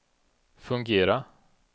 fungera